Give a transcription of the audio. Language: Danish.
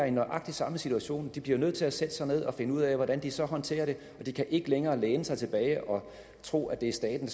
i nøjagtig samme situation de bliver nødt til at sætte sig ned og finde ud af hvordan de så håndterer det de kan ikke længere læne sig tilbage og tro at det er staten